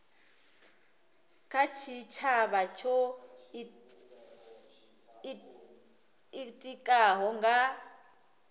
kha tshitshavha tsho itikaho nga